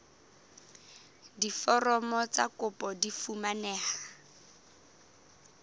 diforomo tsa kopo di fumaneha